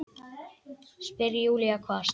spyr Júlía hvasst.